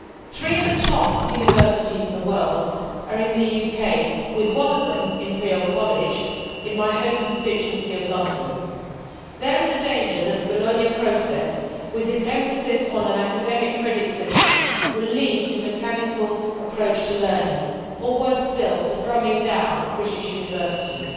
Three of the top universities in the world are in the UK, with one of them, Imperial College, in my home constituency of London. There is a danger that the Bologna Process, with its emphasis on an academic credit system, will lead to a mechanical approach to learning or, worse still, the dumbing down of British universities.